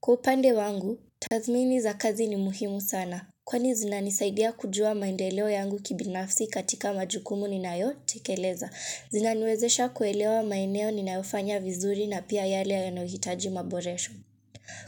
Kwa upande wangu, tazmini za kazi ni muhimu sana. Kwani zinanisaidia kujua maendeleo yangu kibinafsi katika majukumu ninayotekeleza. Zinaniwezesha kuelewa maeneo ninayofanya vizuri na pia yale yanayohitaji maboresho.